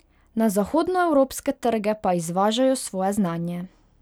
Na zahodnoevropske trge pa izvažajo svoje znanje.